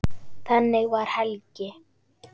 Þannig var Helgi.